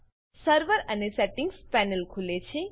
server and settings panel ખુલે છે